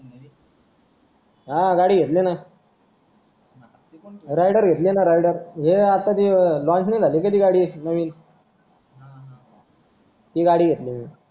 हा गाडी घेतली नां rider घेली नां rider हे आता जे launch नाही का झाली का ती गाडी नवीन ती गाडी घेतली